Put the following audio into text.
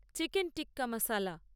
chicken tikka মশলা